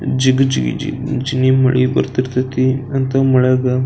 ಜಿಗಿ ಜಿಗ್ ಜಿಗಿ ಮಳೆ ಬರ್ತಿರ್ತಾಯಿತಿ ಅಂತ ಮಳೆಯಾಗ --